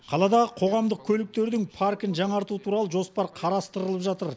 қаладағы қоғамдық көліктердің паркін жаңарту туралы жоспар қарастырылып жатыр